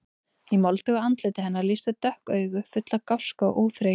Í moldugu andliti hennar lýstu dökk augu, full af gáska og óþreyju.